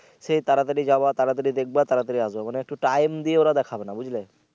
সেই তাড়াতাড়ি যাওয়া তাড়াতাড়ি দেখবা তাড়াতাড়ি করে আসবা মানে একটু time দিয়ে ওরা দেখাবে না বুঝলে।